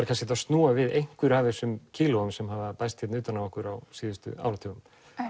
kannski hægt að snúa við einhverjum af þessum kílóum sem hafa bæst við utan á okkur á síðustu áratugum